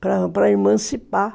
Para para emancipar.